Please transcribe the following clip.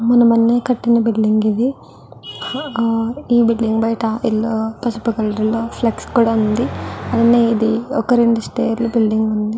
మొన్న మొన్నే కట్టిన బిల్డింగ్. ఇది ఈ బిల్డింగ్ బయట యెల్లో పసుపు కలర్ లో ఫ్లెక్స్ కూడా ఉంది. ఇది ఒక రెండు స్టయిర్ లా బిల్డింగ్ ఇది.